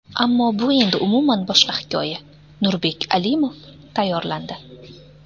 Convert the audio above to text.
Ammo bu endi umuman boshqa hikoya... Nurbek Alimov tayyorlandi.